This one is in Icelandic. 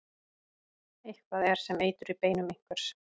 Eitthvað er sem eitur í beinum einhvers